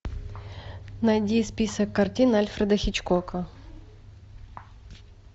найди список картин альфреда хичкока